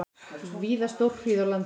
Víða stórhríð á landinu